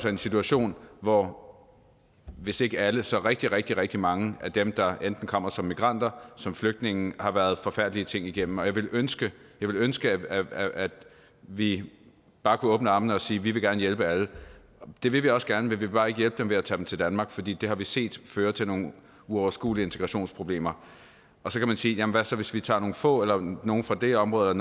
en situation hvor hvis ikke alle så rigtig rigtig rigtig mange af dem der enten kommer som migranter som flygtninge har været forfærdelige ting igennem jeg ville ønske ville ønske at vi at vi bare kunne åbne armene og sige vi vil gerne hjælpe alle det vil vi også gerne men vi vil bare ikke hjælpe dem ved at tage dem til danmark fordi det har vi set føre til nogle uoverskuelige integrationsproblemer så kan man sige jamen hvad så hvis vi tager nogle få eller nogle fra det område